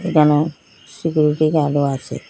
এখানেও সিকিউরিটি গার্ডও আসে ।